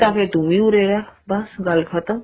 ਫ਼ੇਰ ਤੂੰ ਵੀ ਉਰੇ ਰਹੇ ਬੱਸ ਗੱਲ ਖ਼ਤਮ